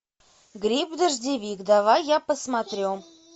гриб дождевик давай я посмотрю